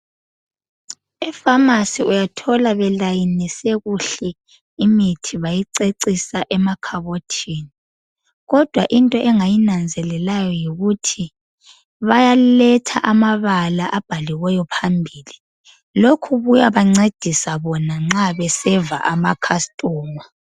Epharmacy uyathola belayinise kuhle imithi bayicecisa emakhabothini. Kodwa into engayinanzelelayo yikuthi, bayaletha amabala abhaliweyo phambili. Lokhu kuyabancedisa bona nxa beseva amacustomer.